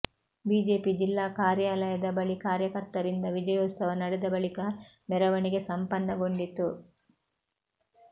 BJP ಜಿಲ್ಲಾ ಕಾರ್ಯಾಲಯದ ಬಳಿ ಕಾರ್ಯಕರ್ತರಿಂದ ವಿಜಯೋತ್ಸವ ನಡೆದ ಬಳಿಕ ಮೆರವಣಿಗೆ ಸಂಪನ್ನಗೊಂಡಿತು